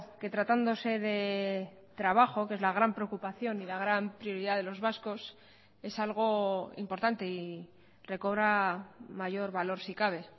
que tratándose de trabajo que es la gran preocupación y la gran prioridad de los vascos es algo importante y recobra mayor valor si cabe